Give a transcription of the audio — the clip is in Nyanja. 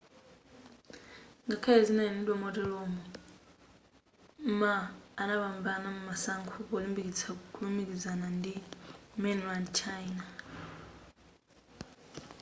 ngakhale izi zinanenedwa moteromo ma anapambana masankho polimbikitsa kulumikizana ndi mainland china